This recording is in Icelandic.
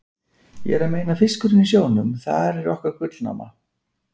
Ég er að meina fiskinn í sjónum, þar er okkar gullnáma.